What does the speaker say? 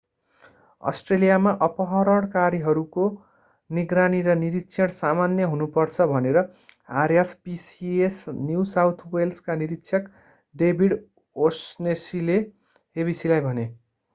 अस्ट्रेलियामा अपहरणकारीहरूको निगरानी र निरिक्षण सामान्य हुनु पर्छ भनेर rspca न्यु साउथ वेल्सका निरिक्षक डेभिड ओ'शनेसीले abcलाई भने।